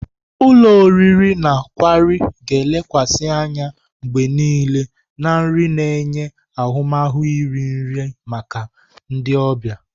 Ulo oriri na kwari ga-elekwasị anya mgbe niile na nri na-enye ahụmahụ iri nri maka ndị ọbịa.